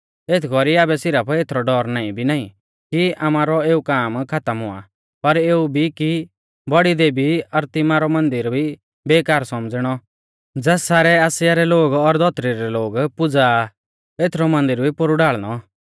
एथ कौरी आबै सिरफ एथरौ डौर नाईं भी नाईं कि आमारौ एऊ काम खातम हुआ पर एऊ भी कि बौड़ी देवी अरतिमिसा रौ मन्दिर भी बेकार सौमझ़िणौ ज़ास सारै आसिया रै लोग और धौतरी रै लोग पुज़ा आ एथरौ मन्दिर भी पोरु ढाल़णौ